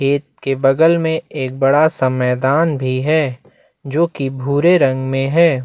खेत के बगल में एक बड़ा सा मैदान भी है जो कि भूरे रंग में है।